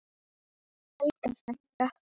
Helga frænka.